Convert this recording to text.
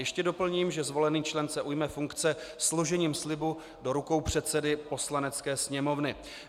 Ještě doplním, že zvolený člen se ujme funkce složením slibu do rukou předsedy Poslanecké sněmovny.